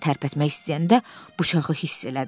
Əlini tərpətmək istəyəndə bıçağı hiss elədi.